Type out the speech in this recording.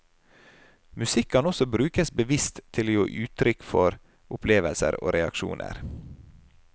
Musikk kan også brukes bevisst til å gi uttrykk for opplevelser og reaksjoner.